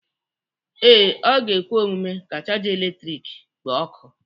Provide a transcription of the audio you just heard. Ee, ọ ga-ekwe omume ka chaja eletrik kpoo ọkụ.